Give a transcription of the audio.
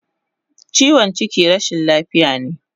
Chiwon chiki rashin lafiya ne